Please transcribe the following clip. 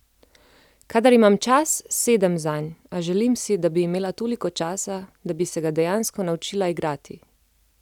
Kadar imam čas, sedem zanj, a želim si, da bi imela toliko časa, da bi se ga dejansko naučila igrati.